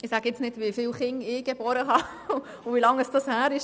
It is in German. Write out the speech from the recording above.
Ich sage jetzt nicht, wie viele Kinder ich geboren habe und wie lange das her ist.